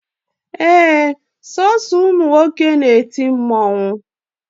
Ee, Sọọsọ ụmụ nwoke na-eti mmụọ